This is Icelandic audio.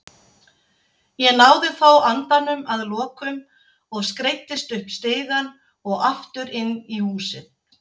Ég náði þó andanum að lokum og skreiddist upp stigann og aftur inn í húsið.